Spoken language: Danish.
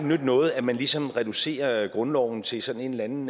nytte noget at man ligesom reducerer grundloven til sådan en eller anden